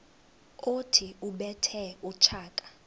othi ubethe utshaka